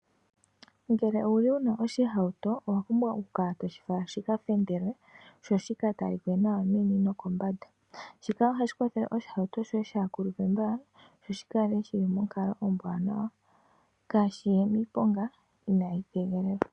Ngele owuli wuna oshihauto oho pumbwa oku kala toshi wala shika fendelwe, shoshi ka talike nawa meni nokombanda. Shika ohashi kwathele oshihauto shoye kashi kulupe mbala sho shi kale shili monkalo ombwanawa, kashiye miiponga inahi tegelelwa.